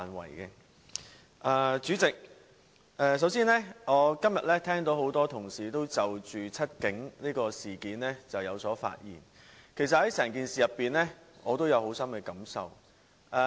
代理主席，首先，我今天聽到多位同事均就"七警"事件發言，其實我對整件事也有深刻感受。